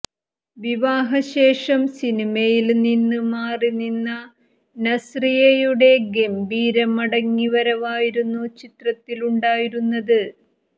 വിവാഹശേഷം സിനിമയില് നിന്നും മാറി നിന്ന നസ്രിയയുടെ ഗംഭീര മടങ്ങി വരവായിരുന്നു ചിത്രത്തിലുണ്ടായിരുന്നത്